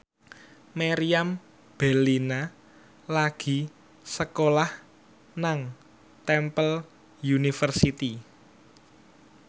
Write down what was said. Meriam Bellina lagi sekolah nang Temple University